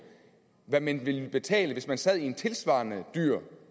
hvad man ville betale hvis man sad i en tilsvarende dyr